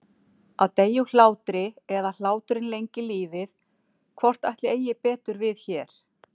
Að deyja úr hlátri eða hláturinn lengir lífið- hvort ætli eigi betur við hér?